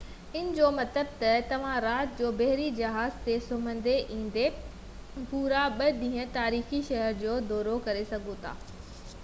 ان جو مطلب تہ توهان رات جو بحري جهاز تي سمهندي ۽ ايندي پورا ٻہ ڏينهن تاريخي شهر جو دورو ڪري سگهو ٿا